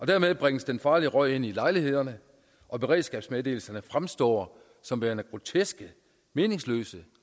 dermed bringes den farlige røg ind i lejlighederne og beredskabsmeddelelserne fremstår som værende groteske meningsløse